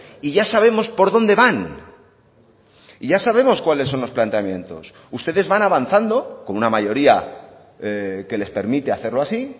y ya sabemos por dónde van y ya sabemos cuáles son los planteamientos ustedes van avanzando con una mayoría que les permite hacerlo así